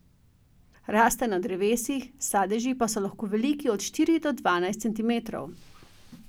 Rastejo na drevesih, sadeži pa so lahko veliki od štiri do dvanajst centimetrov.